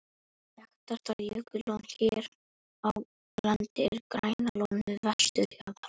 Þekktasta jökullón hér á landi er Grænalón við vesturjaðar